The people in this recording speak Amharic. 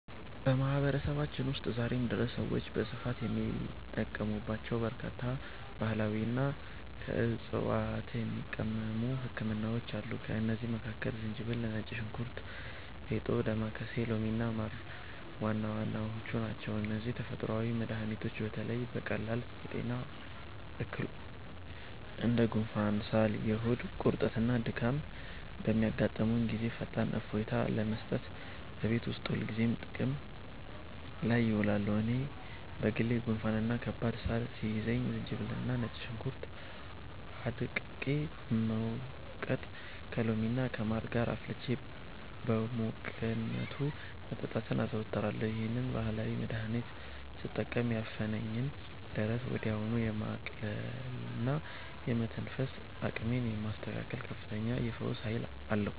በማህበረሰባችን ውስጥ ዛሬም ድረስ ሰዎች በስፋት የሚጠቀሙባቸው በርካታ ባህላዊና ከዕፅዋት የሚቀመሙ ህክምናዎች አሉ። ከእነዚህም መካከል ዝንጅብል፣ ነጭ ሽንኩርት፣ ፌጦ፣ ዳማከሴ፣ ሎሚና ማር ዋና ዋናዎቹ ናቸው። እነዚህ ተፈጥሯዊ መድኃኒቶች በተለይ በቀላል የጤና እክሎች እንደ ጉንፋን፣ ሳል፣ የሆድ ቁርጠትና ድካም በሚያጋጥሙን ጊዜ ፈጣን እፎይታ ለመስጠት እቤት ውስጥ ሁልጊዜ ጥቅም ላይ ይውላሉ። እኔ በግሌ ጉንፋንና ከባድ ሳል ሲይዘኝ ዝንጅብልና ነጭ ሽንኩርት አድቅቄ በመውቀጥ፣ ከሎሚና ከማር ጋር አፍልቼ በሙቅነቱ መጠጣትን አዘወትራለሁ። ይህንን ባህላዊ መድኃኒት ስጠቀም ያፈነኝን ደረት ወዲያውኑ የማቅለልና የመተንፈስ አቅሜን የማስተካከል ከፍተኛ የፈውስ ኃይል አለው።